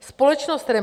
Společnost REMA